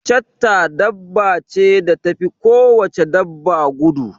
chetta dabba ce da tafi ko wace dabba gudu